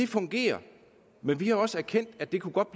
fungerer men vi har også erkendt at det godt